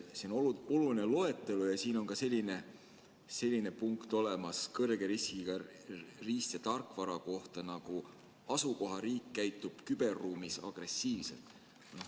See on oluline loetelu ja siin on kõrge riskiga riist- ja tarkvara kohta ka selline punkt olemas, asukohariik käitub küberruumis agressiivselt.